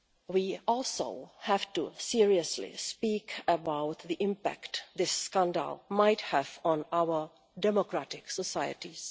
We also have to speak seriously about the impact this scandal might have on our democratic societies.